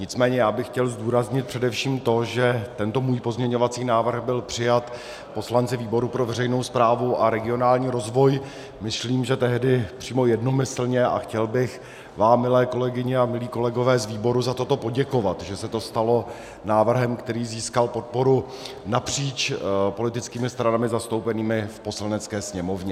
Nicméně já bych chtěl zdůraznit především to, že tento můj pozměňovací návrh byl přijat poslanci výboru pro veřejnou správu a regionální rozvoj, myslím, že tehdy přímo jednomyslně, a chtěl bych vám, milé kolegyně a milí kolegové, z výboru, za toto poděkovat, že se to stalo návrhem, který získal podporu napříč politickými stranami zastoupenými v Poslanecké sněmovně.